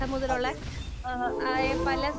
അതെ ഉം.